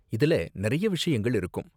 இதுல நறைய விஷயங்கள் இருக்கும்.